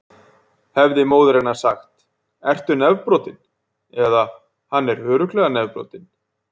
Hefði móðir hennar sagt: Ertu nefbrotinn? eða: Hann er örugglega nefbrotinn.